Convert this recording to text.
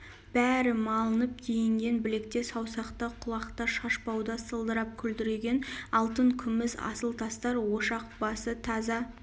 бәрі малынып киінген білекте саусақта құлақта шашбауда сылдырап күлдіреген алтын күміс асыл тастар ошақ басы таза